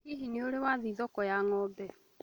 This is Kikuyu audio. Hihi nĩurĩ wa thiĩ thoko ya ngʻambo?